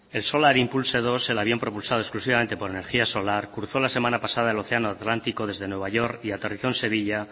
el solar impulse dos el avión propulsado exclusivamente por energía solar cruzó la semana pasada el océano atlántico desde nueva york y aterrizó en sevilla